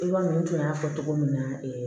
I b'a mɛn n tun y'a fɔ cogo min na